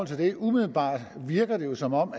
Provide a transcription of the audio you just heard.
sig umiddelbart virker det jo som om